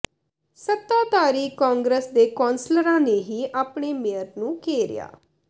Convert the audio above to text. ਸੱਤਾਧਾਰੀ ਕਾਂਗਰਸ ਦੇ ਕੌਂਸਲਰਾਂ ਨੇ ਹੀ ਆਪਣੇ ਮੇਅਰ ਨੂੰ ਘੇਰਿਆ